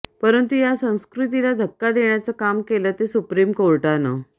परंतु या संस्कृतीला धक्का देण्याचं काम केलं ते सुप्रीम कोर्टानं